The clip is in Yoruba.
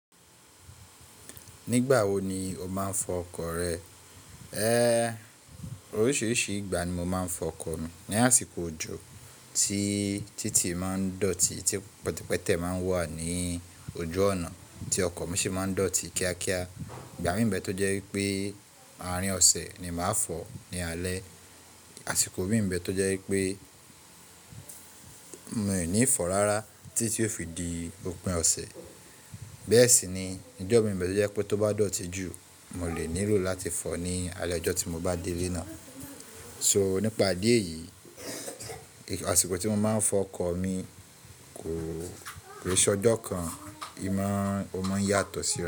Nígbà wo ni o máa ń fọ ọkọ̀ rẹ? Oríṣiríṣi ìgbà ni mo máa ń fọ ọkọ̀ mi. Ni àsìkò òjò, tí títì máa ń dọ̀tí, tí pẹtẹpẹtẹ máa ń wà ní ojú ònà, tí ọkọ̀ mi sì máa ń dọ̀tí kíákíá. Ìgbà mìí nbẹ tó jẹ́ wípé àárín ọ̀sẹ̀ ni màá fọ̀ ní alẹ́. Àsìkò mìír nbẹ tó jẹ́ wípé mi ò ní fọ̀ rárá tí ó fi di òpin ọ̀sẹ̀. Bẹ́ẹ̀ sì ni ìjọ̀ mìí nbẹ tó jẹ́ pé tó bá dọ̀tí jù, mo lè nílò láti fọ̀ ọ́ ní alẹ́ ọjọ́ tí mo bá dé ilé náà. So, nípa ìdí éyìí, àsìkò tí mo máa ń fọ ọkọ̀ mi kò rí sọ́dọ̀ kan. Imọ̀ ọmọ yàtọ̀ sí.